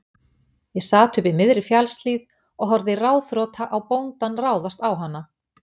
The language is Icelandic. Ég sat uppi í miðri fjallshlíð og horfði ráðþrota á bóndann ráðast á hana.